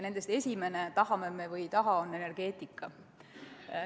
Nendest esimene, tahame me või ei taha, on energeetika.